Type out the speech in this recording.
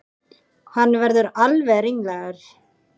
Hann verður alveg ringlaður.